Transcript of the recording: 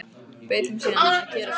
Bauð þeim síðan að gjöra svo vel.